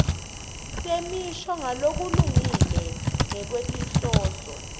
temisho ngalokulungile ngekwetinhloso